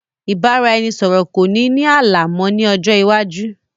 Ìbáraẹnisọọ̀rọ̀ kò ní ní ààlà mọ ni ọjọ́ iwájú